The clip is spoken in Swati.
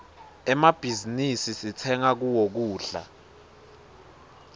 emmabhizinisi sitsenga kuwo kudla